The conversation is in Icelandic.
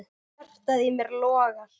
Hjartað í mér logar.